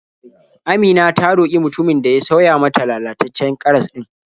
Amina ta roƙi mutumin da ya sauya mata lalataccen karas ɗin.